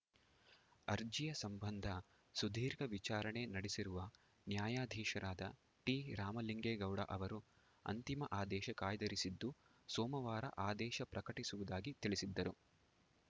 ಅರ್ಜಿಯ ಸಂಬಂಧ ಸುದೀರ್ಘ ವಿಚಾರಣೆ ನಡೆಸಿರುವ ನ್ಯಾಯಾಧೀಶರಾದ ಟಿರಾಮಲಿಂಗೇಗೌಡ ಅವರು ಅಂತಿಮ ಆದೇಶ ಕಾಯ್ದಿರಿಸಿದ್ದು ಸೋಮವಾರ ಆದೇಶ ಪ್ರಕಟಿಸುವುದಾಗಿ ತಿಳಿಸಿದ್ದರು